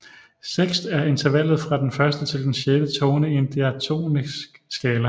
Sekst er intervallet fra den første til den sjette tone i en diatonisk skala